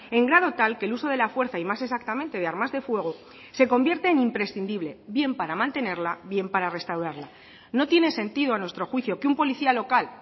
en grado tal que el uso de la fuerza y más exactamente de armas de fuego se convierte en imprescindible bien para mantenerla bien para restaurarla no tiene sentido a nuestro juicio que un policía local